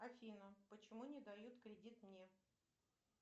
афина почему не дают кредит мне